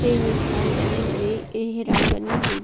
हेइ स्थान बनी हुई हैं हे हिरण बनी हुई --